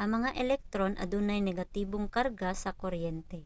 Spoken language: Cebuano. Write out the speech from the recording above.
ang mga electron adunay negatibong karga sa kuryente